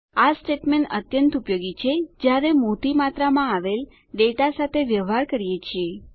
આ સ્ટેટમેંટ અત્યંત ઉપયોગી છે જ્યારે મોટી માત્રામાં આવેલ ડેટા સાથે વ્યવહાર કરીએ છીએ